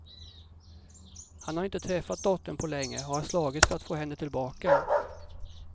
Han har inte träffat dottern på länge och har slagits för att få henne tillbaka.